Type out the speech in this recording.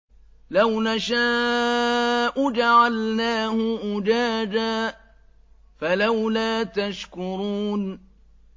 لَوْ نَشَاءُ جَعَلْنَاهُ أُجَاجًا فَلَوْلَا تَشْكُرُونَ